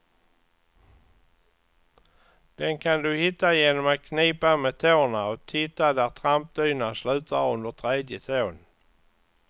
Den kan du hitta genom att knipa med tårna och titta där trampdynan slutar under tredje tån.